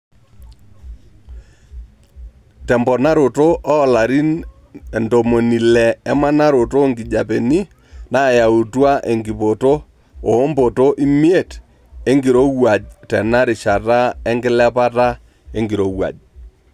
Temponaroto oo larin ntomoni ile emanaroto oonkijepeni naayautua enkipoto oompoto imiet enkirowuaj tena rishata enkilepata enkirowuaj.